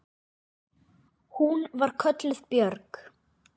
Hún var kölluð Björg.